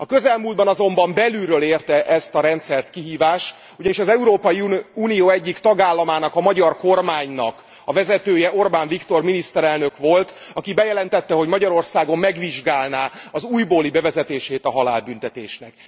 A közelmúltban azonban belülről érte ezt a rendszert kihívás, ugyanis az Európai Unió egyik tagállamának, a magyar kormánynak a vezetője, Orbán Viktor miniszterelnök volt, aki bejelentette, hogy Magyarországon megvizsgálná az újbóli bevezetését a halálbüntetésnek.